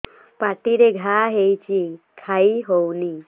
ପାଟିରେ ଘା ହେଇଛି ଖାଇ ହଉନି